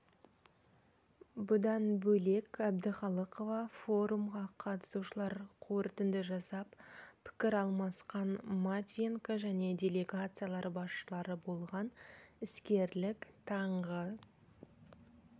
бұдан бөлек әбдіқалықова форумға қатысушылар қорытынды жасап пікір алмасқан матвиенко және делегациялар басшылары болған іскерлік таңғы